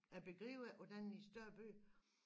Jeg begriber ikke hvordan i større byer